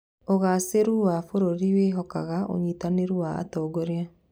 ũgacĩĩru wa bũrũri wĩhikaga ũnyitanĩri wa atongoria.